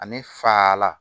Ani fa la